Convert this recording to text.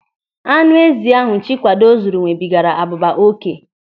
Anụ ezi ahụ Chikwado zụrụ nwebigaara abụba oké.